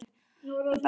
Besta bíómyndin?